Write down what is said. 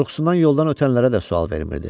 Qorxusundan yoldan ötənlərə də sual vermirdi.